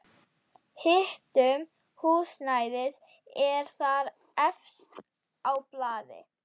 Hitun húsnæðis er þar efst á blaði.